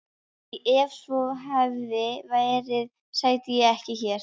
Því ef svo hefði verið sæti ég ekki hér.